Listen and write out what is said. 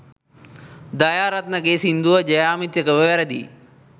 දයාරත්න ගේ සින්දුව ජ්‍යාමිතිකව වැරදියි.